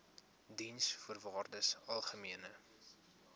diensvoorwaardesalgemene